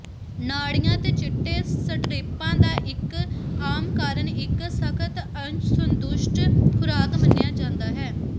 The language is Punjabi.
ਨਾੜੀਆਂ ਤੇ ਚਿੱਟੇ ਸਟਰਿਪਾਂ ਦਾ ਇੱਕ ਆਮ ਕਾਰਨ ਇੱਕ ਸਖ਼ਤ ਅਸੰਤੁਸ਼ਟ ਖੁਰਾਕ ਮੰਨਿਆ ਜਾਂਦਾ ਹੈ